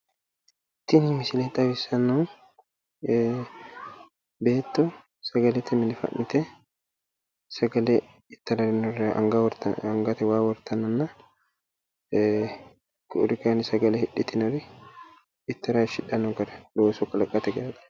Tini misile xawissannohu ee beetto sagalete mine fa'nite sagale ittara daggannorira angate waa wortannanna ee ku'uri kayinni sagale hidhitinori ittara hayishsidhanno gara looso kalaqate gara